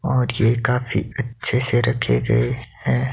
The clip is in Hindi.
और ये काफी अच्छे से रखे गए हैं।